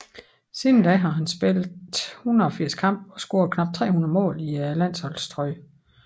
Siden da har han spillet 180 kampe og scoret knap 300 mål i landsholdstrøjen